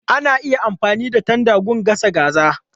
Ana iya amfani da tanda don gasa kaza.